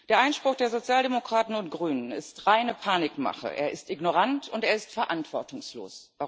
Der Einspruch der Sozialdemokraten und der Grünen ist reine Panikmache, er ist ignorant und er ist verantwortungslos.